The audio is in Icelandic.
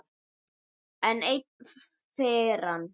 Enn ein firran.